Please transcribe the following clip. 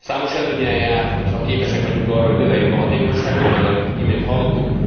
Számos előnnyel jár, ha képesek vagyunk arra, hogy növeljük a hatékonyságot, ahogy az imént hallottuk.